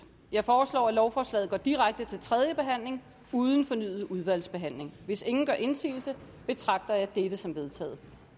jeg foreslår at lovforslaget går direkte til tredje behandling uden fornyet udvalgsbehandling hvis ingen gør indsigelse betragter jeg dette som vedtaget